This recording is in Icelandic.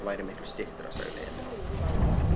Ég hélt að það væri miklu styttra, sagði Emil.